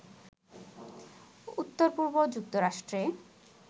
উত্তর-পূর্ব যুক্তরাষ্ট্রে